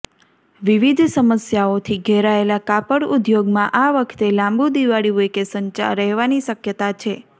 વિવિધ સમસ્યાઓથી ઘેરાયેલા કાપડઉદ્યોગમાં આ વખતે લાંબું દિવાળી વેકેશન રહેવાની શકયતા છે